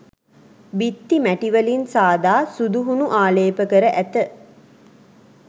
බිත්ති මැටි වලින් සාදා සුදු හුණු ආලේ්ප කර ඇත.